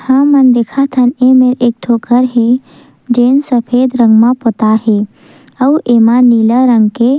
ह मन देखत हन एमेर एक ठन घर हे जे सफ़ेद रंग में पोताय हे अउ एमा नीला रंग के--